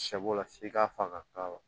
Sɛ bo la f'i ka faga